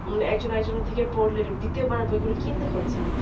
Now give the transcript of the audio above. একজন আরেকজনের থেকে পড়লে দ্বিতীয় বার বই গুলো কিনতে হচ্ছে না